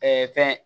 fɛn